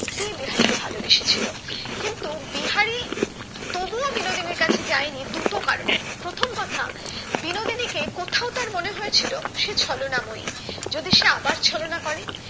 বিহারি কে ভালোবেসেছিলো কিন্তু বিহারি তবুও বিনোদিনীর কাছে যায়নি দুটো কারণে প্রথম কথা বিনোদিনী কে কোথাও তার মনে হয়ে ছিল সে ছলনাময়ী যদি সে আবার ছলনা করে